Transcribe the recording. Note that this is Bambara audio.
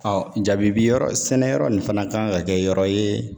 jabibi yɔrɔ sɛnɛ yɔrɔ nin fana kan ka kɛ yɔrɔ ye